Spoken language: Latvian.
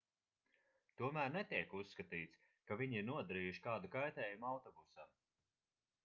tomēr netiek uzskatīts ka viņi ir nodarījuši kādu kaitējumu autobusam